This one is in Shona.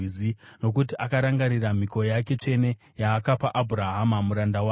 Nokuti akarangarira mhiko yake tsvene yaakapa Abhurahama muranda wake.